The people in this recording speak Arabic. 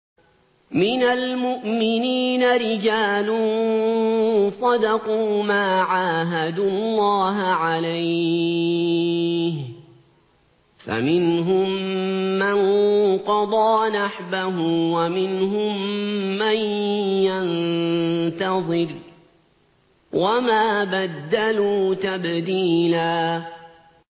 مِّنَ الْمُؤْمِنِينَ رِجَالٌ صَدَقُوا مَا عَاهَدُوا اللَّهَ عَلَيْهِ ۖ فَمِنْهُم مَّن قَضَىٰ نَحْبَهُ وَمِنْهُم مَّن يَنتَظِرُ ۖ وَمَا بَدَّلُوا تَبْدِيلًا